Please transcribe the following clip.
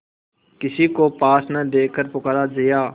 किसी को पास न देखकर पुकारा जया